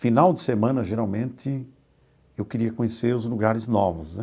Final de semana, geralmente, eu queria conhecer os lugares novos né.